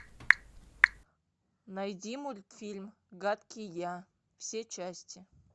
найди мультфильм гадкий я все части